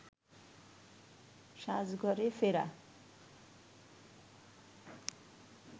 সাজঘরে ফেরা